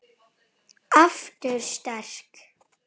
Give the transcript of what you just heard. Ég skil ekki alveg